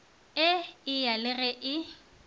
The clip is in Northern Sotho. e eya le ge e